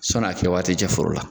Sɔni a kɛ waati cɛ foro la.